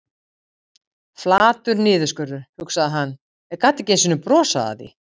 Meðferðin kostar mig ekkert.